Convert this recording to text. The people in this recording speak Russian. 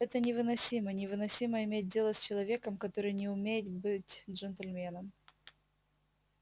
это невыносимо невыносимо иметь дело с человеком который не умеет быть джентльменом